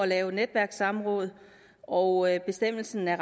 lave netværkssamråd og bestemmelsen er